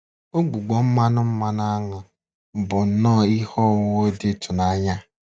Ụgbụgbọ mmanụ mmanụ áṅụ bụ nnọ ihe ọwụwụ dị ịtụnanya.